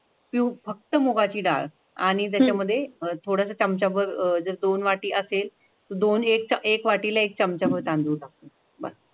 फक्थ मुगाची डाळ आणि त्याचामधे अह थोडसा चमचाबर अं जे धोण वाटी असेल की धोन का एक वाटिला एक चमचाबर तांडुल टाकू बस.